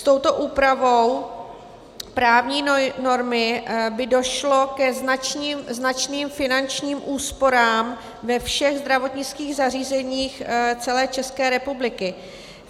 S touto úpravou právní normy by došlo ke značným finančním úsporám ve všech zdravotnických zařízeních celé České republiky.